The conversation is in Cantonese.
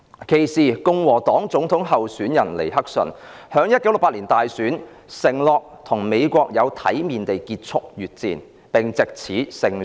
其時，共和黨總統候選人尼克遜在1968年大選時承諾有體面地結束越戰，並藉此勝出大選。